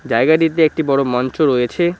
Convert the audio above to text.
জায়গাটিতে একটি বড় মঞ্চ রয়েছে।